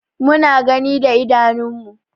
Mu na gani da idanun mu.